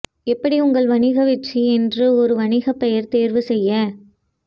எப்படி உங்கள் வணிக வெற்றி என்று ஒரு வணிக பெயர் தேர்வு செய்ய